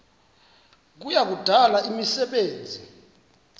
kuya kudala imisebenzi